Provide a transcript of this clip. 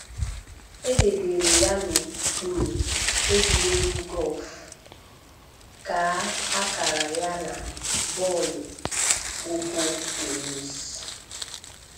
"E debere ya n'okpuru :egwuregwu Guff, kaa akara ya na: bọọlụ ụkwụ, tenisi. "